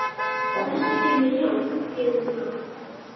Lestu fyrir mig ljóð, biður hún lágt.